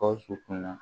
Gawusu kun na